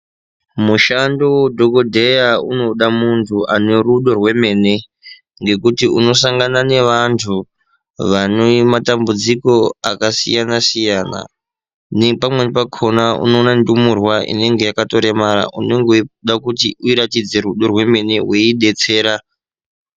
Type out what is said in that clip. Mushando weudhokodheya unoda muntu ane rudo rwemene ngekuti unosangana nevantu vane matambudziko akasiyana siyana nepamweni pakona unoona ndumurwa inenge yakatoremara unenge weide kuti uiratidze rudo rwemene weiidetsera.